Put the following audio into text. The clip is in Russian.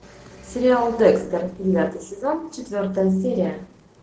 сериал декстер девятый сезон четвертая серия